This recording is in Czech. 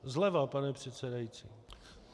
Zleva, pane předsedající.